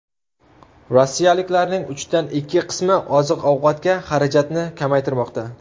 Rossiyaliklarning uchdan ikki qismi oziq-ovqatga xarajatni kamaytirmoqda.